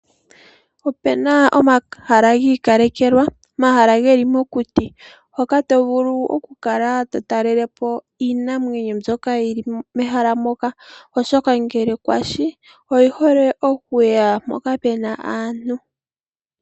Opuna omahala giikalekelwa, omahala geli mokuti hoka tovulu okukala totaalelepo iinamwenyo mbyoka yili mehala moka, oshoka ngele kwashi oyi hole okuya mpoka puna aantu.